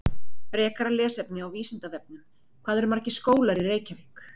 Frekara lesefni á Vísindavefnum: Hvað eru margir skólar í Reykjavík?